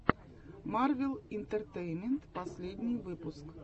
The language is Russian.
марвел интертеймент последний выпуск